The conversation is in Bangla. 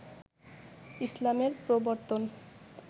ইসলামের প্রবর্তন